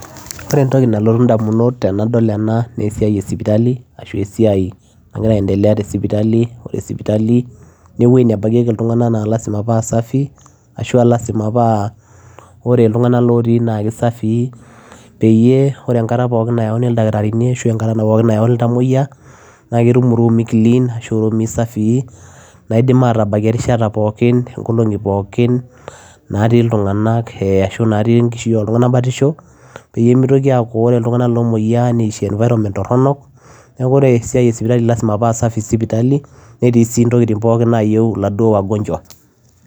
Oree entokii nalotuu idamunot tenadol enaa naa esiai ee sipitali oree sipitali naa eweujii naa lazima paa safii peyie oree enkata pookin nayaui ildakitarini ashua ketum ilntamoyia irumuii clean nadim aatabakieki erishata pookin ashua inkolingi pokin natii ilntunganak ashua natii enkishui enye batishoo peyiee miitokii aakuu oree ilntomoyiaa netii environment toronok ashuaa lazima paa safii sipitali netiii intokitin nayieu wagonjwa